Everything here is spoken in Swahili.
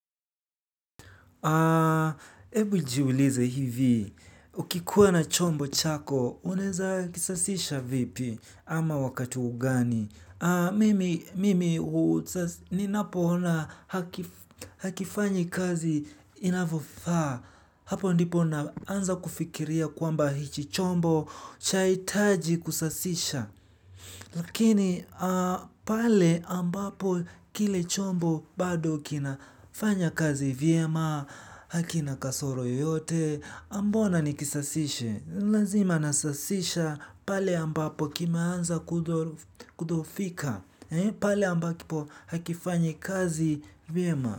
Ebu jiulize hivi, ukikuwa na chombo chako, unaeza kisasisha vipi ama wakati gani? Mimi, ninapo ona hakifanyi kazi inavyofaa, hapo ndipo naanza kufikiria kwamba hichi chombo chahitaji kusasisha. Lakini pale ambapo kile chombo bado kina fanya kazi vyema, hakina kasoro yoyote, mbona nikisasishe, lazima nasasisha pale ambapo kimeanza kudhoofika, pale ambapo hakifanyi kazi vyema.